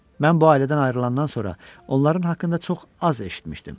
Mən bu ailədən ayrılandan sonra onların haqqında çox az eşitmişdim.